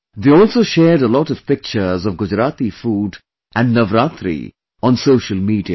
They also shared a lot of pictures of Gujarati food and Navratri on social media